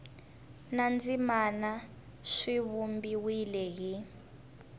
na tindzimana swi vumbiwile hi